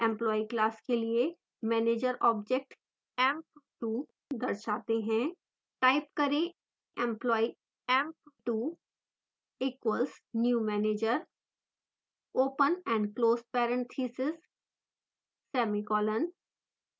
employee class के लिए manager object emp2 दर्शाते हैं